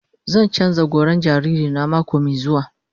Zan canza goran jariri na mako mai zuwa.